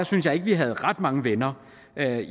synes at vi havde ret mange venner